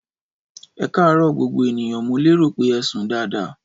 Ẹkarọ gbogbo ènìyàn ,mo lérò pé ẹsùn daadaa.